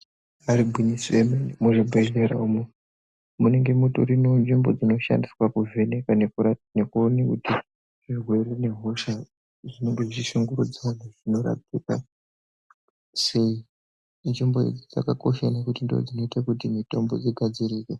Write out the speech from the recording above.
Imba irigwinyiso yemene, muzvibhedhlera umo munenge mutori nenzvimbo dzinoshandiswe kuvheneka nekurapa nekuone kuti zvirwere nehosha zvinenge zvichishungurudza vantu zvinorapika sei. Nzvimbo idzi dzakakosha ngekuti ndidzo dzinoite kuti mitombo igadzirike.